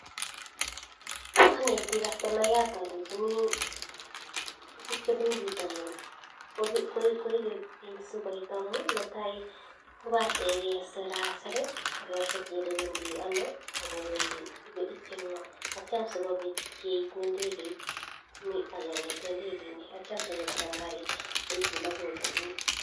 Kanetik kastomayat alenjini tuguk chebunu bitanin koibe bik sikoib netai kobatei kesir Asir agere Kole Wendi ano akoityin ngo asikobit keib indegeit mi agenge kongeten indekeit niton sinyo konam garit